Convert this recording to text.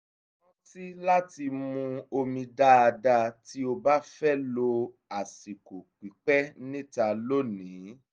rántí láti mu omi dáadáa tí ó bá fẹ́ lo àsìkò pípẹ́ níta lónìí